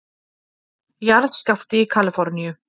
Jarðskjálfti í Kalíforníu